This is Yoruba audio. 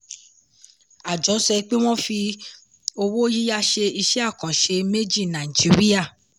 àjọ sọ pé wọ́n fi owó yíyá ṣe iṣẹ́ àkànṣe méjì nàìjíríà.